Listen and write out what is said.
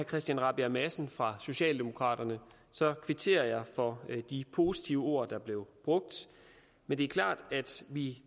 christian rabjerg madsen fra socialdemokraterne kvitterer jeg for de positive ord der blev brugt men det er klart at vi